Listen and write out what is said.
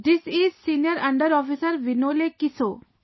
This is senior under Officer Vinole Kiso